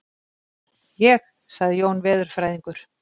Ég? sagði Jón veðurfræðingur.